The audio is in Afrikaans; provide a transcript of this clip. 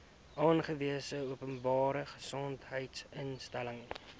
aangewese openbare gesondheidsinstelling